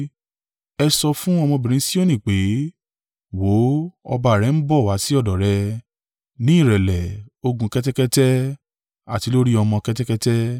“Ẹ sọ fún ọmọbìnrin Sioni pé, ‘Wò ó, ọba rẹ ń bọ̀ wá sí ọ̀dọ̀ rẹ, ní ìrẹ̀lẹ̀, ó ń gun kẹ́tẹ́kẹ́tẹ́, àti lórí ọmọ kẹ́tẹ́kẹ́tẹ́.’ ”